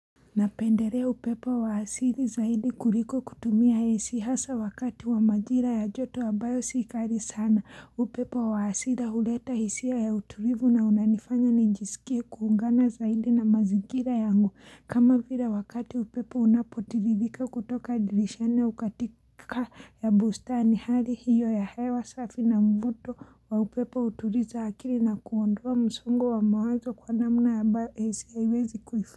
Napendelea upepo wa asili zaidi kuliko kutumia ac hasa wakati wa majira ya joto ambayo si kali sana upepo wa hasira huleta hisia ya utulivu na unanifanya nijisikie kuungana zaidi na mazingira yangu kama vila wakati upepo unapotiririka kutoka dirishani ukatika ya bustani hali hiyo ya hewa safi na mvuto wa upepo hutuliza akili na kuondoa msungo wa mawazo kwa namna ambayo ac haiwezi kuifu.